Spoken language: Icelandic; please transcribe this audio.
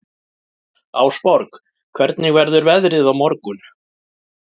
Ásborg, hvernig verður veðrið á morgun?